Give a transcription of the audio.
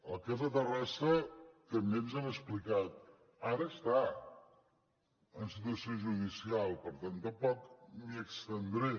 el cas de terrassa també ens han explicat ara està en situació judicial per tant tampoc m’hi estendré